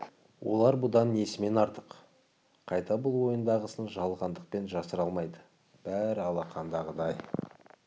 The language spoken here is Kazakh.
олар бұдан несімен артық қайта бұл ойындағысын жалғандықпен жасыра алмайды бәрі алақандағыдай